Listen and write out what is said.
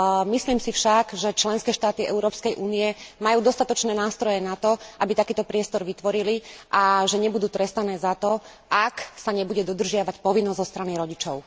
Myslím si však, že členské štáty Európskej únie majú dostatočné nástroje na to, aby takýto priestor vytvorili, a že nebudú trestané za to, ak sa nebude dodržiavať povinnosť zo strany rodičov.